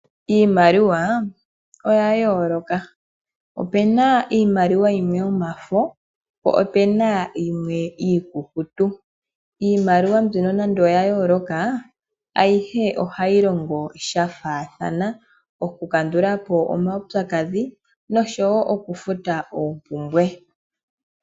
Iimaliwa oya yooloka, opu na yimwe yomafo po opu na yimwe iikukutu. Nonande oya yooloka ayihe ohayi longo shafaathana, oku kandulapo omaupyakadhi nosho woo okufuta oompumbwe.